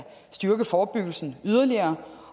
styrke forebyggelsen yderligere